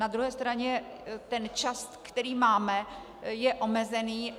Na druhé straně ten čas, který máme, je omezený.